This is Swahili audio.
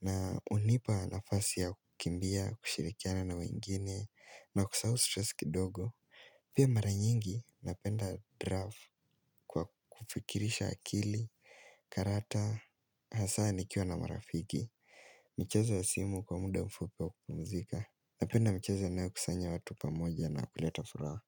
Na hunipa nafasi ya kukimbia, kushirikiana na wengine, na kusahau stress kidogo. Pia mara nyingi, napenda draft kwa kufikirisha akili, karata, hasa nikiwa na marafiki. Michezo ya simu kwa muda mfupi wa kupumzika, napenda michezo inayo kusanya watu pamoja na kuleta furaha.